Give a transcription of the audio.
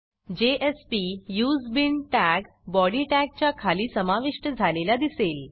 jspuseBean tag body टॅगच्या खाली समाविष्ट झालेला दिसेल